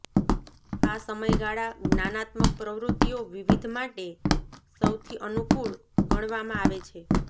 આ સમયગાળા જ્ઞાનાત્મક પ્રવૃત્તિઓ વિવિધ માટે સૌથી અનુકૂળ ગણવામાં આવે છે